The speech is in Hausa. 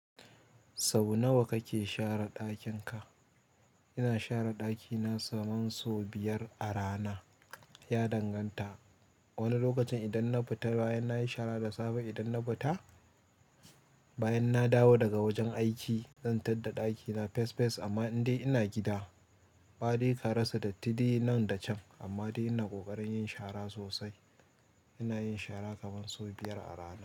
Sau nawa kake share ɗakin ka? Ina share ɗakina kaman so biyar a rana, ya danganta. Wani lokacin idan na fita bayan nayi shara da safe, idan na fita bayan na dawo daga wajen aiki, zan tar da ɗakina fes fes amma in dai ina gida, baɗe karasa datti dai nan da can amma dai ina ƙoƙarin yin shara sosai. Ina yin shara kaman so biyar a rana.